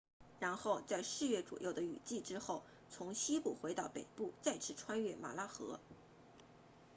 然后在四月左右的雨季之后从西部回到北部再次穿越马拉河